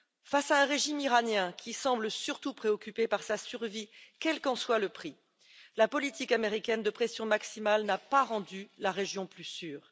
Face à un régime iranien qui semble surtout préoccupé par sa survie, quel qu'en soit le prix, la politique américaine de pression maximale n'a pas rendu la région plus sûre.